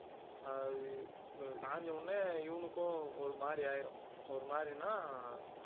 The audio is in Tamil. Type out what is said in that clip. ஆஹ் அது சாய்ந்த உடனே இவனுக்கும் ஒரு மாதிரி ஆயிரும் ஒரு மாதிரின்னா